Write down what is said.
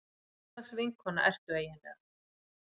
Hvurslags vinkona ertu eiginlega.